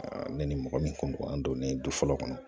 ne ni mɔgɔ min kun ka don ne du fɔlɔ kɔnɔ